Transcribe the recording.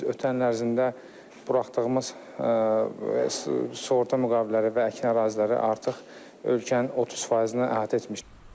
Biz ötən il ərzində buraxdığımız sığorta müqavilələri və əkin əraziləri artıq ölkənin 30%-ni əhatə etmişdi.